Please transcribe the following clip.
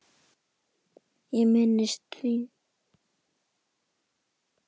Ég minnist þín.